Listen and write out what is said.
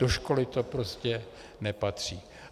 Do školy to prostě nepatří.